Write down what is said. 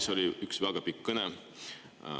See oli üks väga pikk kõne.